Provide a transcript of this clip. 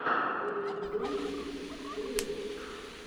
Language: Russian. бери и делай дети первый выпуск